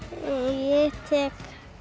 ég tek